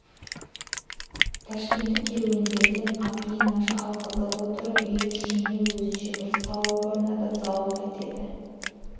тәшкендік керуендерден апиын наша алғызып отырып үй ішіне өзінше бір сауық орнатып зауық етеді